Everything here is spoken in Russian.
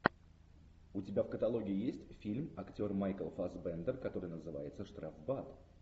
у тебя в каталоге есть фильм актер майкл фассбендер который называется штрафбат